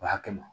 O hakil